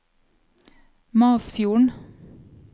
Masfjorden